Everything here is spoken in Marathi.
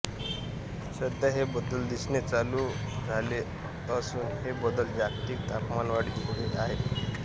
सध्या हे बदल दिसणे चालू झाले असून हे बदल जागतिक तापमानवाढीमुळे आहे का